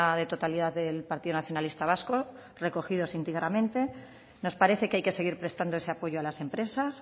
de totalidad del partido nacionalista vasco recogidos íntegramente nos parece que hay que seguir prestando ese apoyo a las empresas